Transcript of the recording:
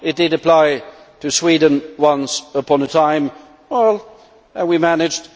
It did apply to Sweden once upon a time, and we managed.